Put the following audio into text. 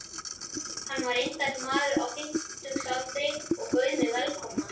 Hann var indæll maður á fimmtugsaldri og bauð mig velkomna.